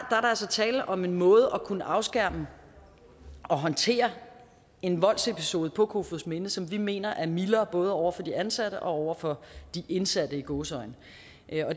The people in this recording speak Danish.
altså tale om en måde at kunne afskærme og håndtere en voldsepisode på kofoedsminde på som vi mener er mildere både over for de ansatte og over for de indsatte i gåseøjne